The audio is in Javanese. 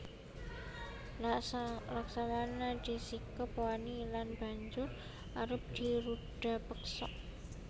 Laksmana disikep wani lan banjur arep dirudapeksa